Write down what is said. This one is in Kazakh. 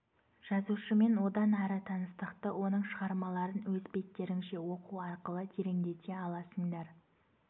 жазушымен одан ары таныстықты оның шығармаларын өз беттеріңше оқу арқылы тереңдете аласыңдар